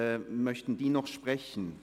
Möchten diese auch sprechen?